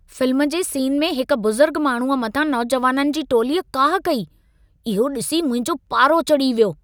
Film जे scene में हिकु बुज़ुर्ग माण्हूअ मथां नौजवाननि जी टोलीअ काहु कई, इहो ॾिसी मुंहिंजो पारो चढ़ी वियो।